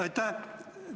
Aitäh!